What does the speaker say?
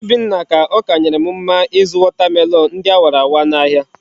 Obinna ka okanyerem mma izu watermelon ndi awara awa na ahia